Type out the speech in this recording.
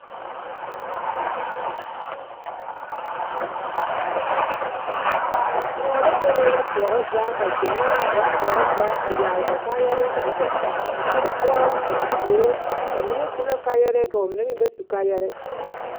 kóɔ la bebe ba poɔrɔ zaa ka gyamaa a ba poɔrɔ zaa a yage ba kaayɛrɛɛ kyɛ a kpɛ a kóɔ poɔ a te suoro ba mine su la kaayɛrɛɛ ka ba mine meŋ ba su kaayɛrɛɛ